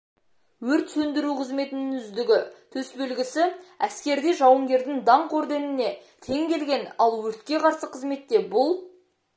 өрт сөндіру қызметінің үздігі төсбелгісі әскерде жауынгердің даңқ орденіне тең келген ал өртке қарсы қызметте бұл